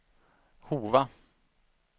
Hova